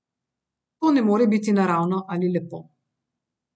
To ne more biti naravno ali lepo.